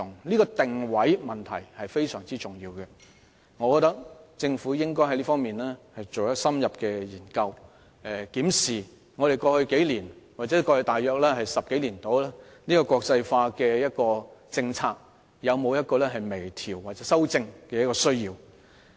這個定位問題非常重要，我認為政府在這方面應該進行深入研究，檢視過往數年或10多年的國際化政策有否微調或修正的需要。